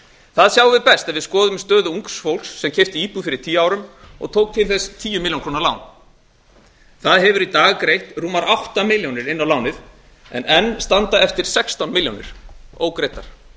það sjáum við best ef við skoðum stöðu ungs fólks sem keypti íbúð fyrir tíu árum og tók til þess tíu milljónir króna lán það hefur í dag greitt rúmar átta milljónir in á láni en enn standa eftir sextán milljónir ógreiddar